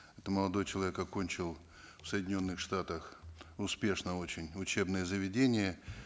это молодой человек окончил в соединенных штатах успешно очень учебное заведение